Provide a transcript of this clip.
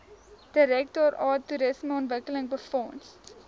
direktoraat toerismeontwikkeling befonds